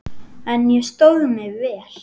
En ég stóð mig vel.